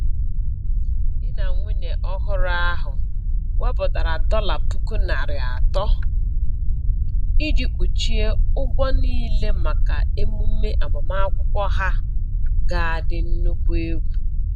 Di na nwunye ọhụrụ ahụ wepụtara dọla puku narị atọ iji kpuchie ụgwọ niile maka emume agbamakwụkwọ ha ga adị nnukwu egwu